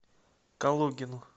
калугину